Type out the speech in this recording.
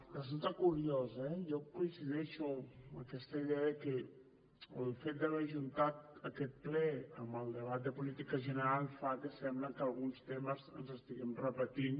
resulta curiós eh jo coincideixo amb aquesta idea de que el fet d’haver ajuntat aquest ple amb el debat de política general fa que sembli que alguns temes els estiguem repetint